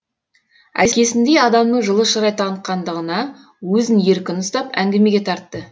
әкесіндей адамның жылы шырай танытқандығына өзін еркін ұстап әңгімеге тартты